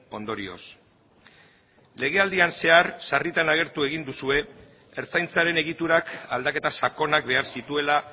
ondorioz legealdian zehar sarritan agertu egin duzue ertzaintzaren egiturak aldaketa sakonak behar zituela